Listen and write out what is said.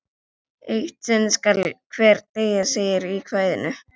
Eitt sinn skal hver deyja, segir í kvæðinu.